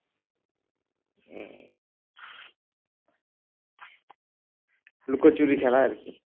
লুকোচুরি খেলা আর কি